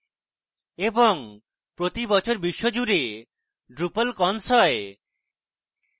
এবং প্রতি বছর বিশ্বজুড়ে drupalcons হয়